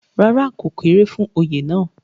rárá, ó kéré fún Oyè náà